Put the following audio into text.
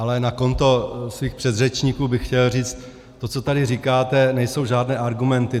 Ale na konto svých předřečníků bych chtěl říct: To, co tady říkáte, nejsou žádné argumenty.